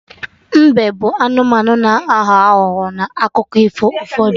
Mbe bụ anụmanụ na-aghọ aghụghọ n'akụkọ ifo ụfọdụ